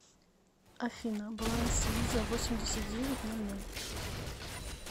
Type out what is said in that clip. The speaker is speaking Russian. афина баланс виза восемьдесят девять ноль ноль